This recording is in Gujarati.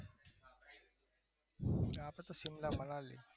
આપડું તો સીમલા મનાલી